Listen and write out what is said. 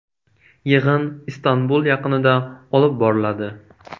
Yig‘in Istanbul yaqinida olib boriladi.